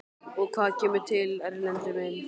Og hvað kemur til, Erlendur minn?